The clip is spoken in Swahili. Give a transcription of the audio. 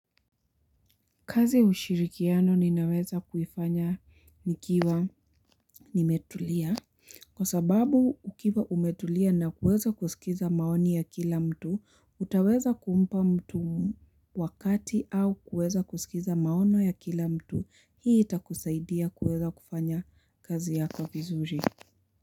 Kazi ushirikiano ninaweza kuifanya nikiwa nimetulia. Kwa sababu, ukiwa umetulia na kuweza kusikiliza maoni ya kila mtu, utaweza kumpa mtu wakati au kuweza kusikiliza maoni ya kila mtu. Hii itakusaidia kuweza kufanya kazi yako vizuri.